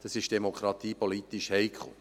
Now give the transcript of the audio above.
Dies ist demokratiepolitisch heikel.